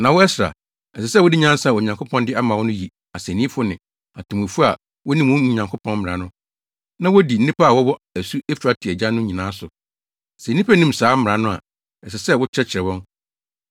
Na wo Ɛsra, ɛsɛ sɛ wode nyansa a Onyankopɔn de ama wo no yi asennifo ne atemmufo a wonim mo Nyankopɔn mmara no, na wodi nnipa a wɔwɔ asu Eufrate agya no nyinaa so. Sɛ nnipa nnim saa mmara no a, ɛsɛ sɛ wokyerɛkyerɛ wɔn.